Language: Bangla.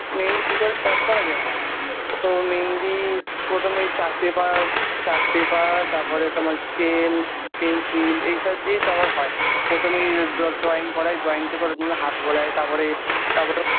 মেহেন্দি কি করে Start করা যায় তো মেহেন্দি প্রথমে chart paper chart paper তারপরে তোমার scale pencil এই সব দিয়ে তাপর হয় প্রথমে ড্র drwaing করাই drawing টাপর হাত বোলাই তাপরে তাপ